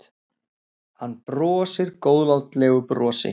Hann brosir góðlátlegu brosi.